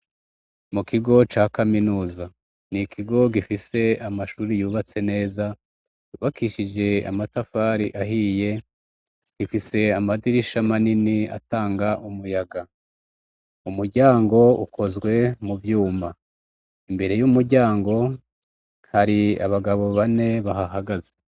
mu kigo ca kaminuza ni ikigo gifise amashuri yubatse neza bakishije amatafari ahiye gifise amadirisha manini atanga umuyaga umuryango ukozwe mu byuma imbere y'umuryango hari abagabo bane bahahagaze